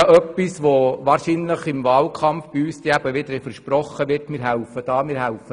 Wahrscheinlich wird auch bei uns im Wahlkampf wieder versprochen, man würde hier oder da helfen.